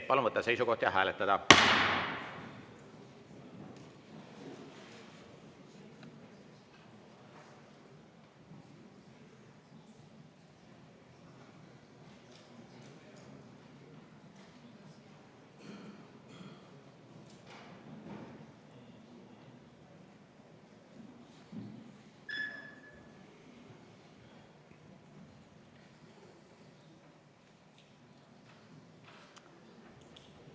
Palun võtta seisukoht ja hääletada!